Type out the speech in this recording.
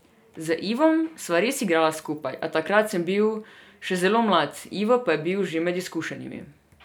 Z Ivom sva res igrala skupaj, a takrat sem bil še zelo mlad, Ivo pa je bil že med izkušenimi.